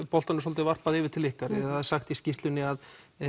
boltanum svolítið kastað yfir til ykkar það er sagt í skýrslunni að